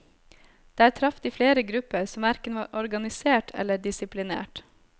Der traff de flere grupper som hverken var organisert eller disiplinert.